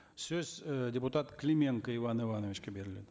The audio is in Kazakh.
сөз і депутат клименко иван ивановичке беріледі